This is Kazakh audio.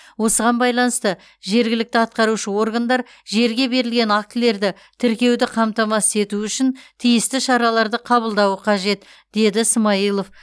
осыған байланысты жергілікті атқарушы органдар жерге берілген актілерді тіркеуді қамтамасыз ету үшін тиісті шараларды қабылдауы қажет деді ә смайылов